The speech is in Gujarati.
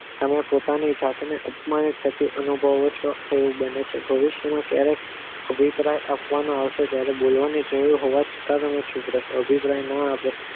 અને પોતાની જાતને અપમાનિત થતી અનુભવે છે તેવું બને છે ભવિષ્યમાં ક્યારેય અભિપ્રાય આપવામાં આવે છે ત્યરે બળવાની બોલવાની જરૂર હોવા છતાં પણ ન સુધરો